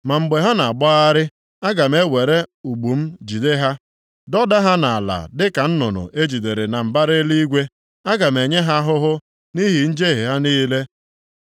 Ma mgbe ha na-agbagharị, aga m ewere ụgbụ m jide ha, dọda ha nʼala dịka nnụnụ e jidere na mbara eluigwe. Aga m enye ha ahụhụ nʼihi njehie ha niile.